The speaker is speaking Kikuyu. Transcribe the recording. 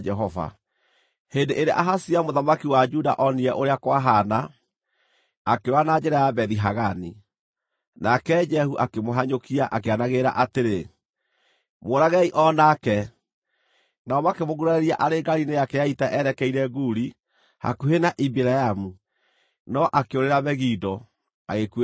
Hĩndĩ ĩrĩa Ahazia mũthamaki wa Juda onire ũrĩa kwahaana, akĩũra na njĩra ya Bethi-Hagani. Nake Jehu akĩmũhanyũkia, akĩanagĩrĩra atĩrĩ, “Mũũragei o nake!” Nao makĩmũgurarĩria arĩ ngaari-inĩ yake ya ita erekeire Guri hakuhĩ na Ibileamu, no akĩũrĩra Megido, agĩkuĩra kuo.